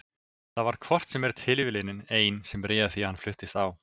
Það var hvort sem er tilviljunin ein sem réð því að hann fluttist á